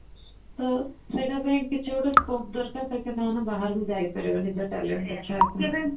ତ ସେଇଟା ପାଇଁ କିଛି ଗୋଟେ scope ଦରକାର ତାକି ସେମାନେ ବାହାରକୁ ଯାଇପାରିବେ ନିଜ talent ଦେଖେଇବା ପାଇଁ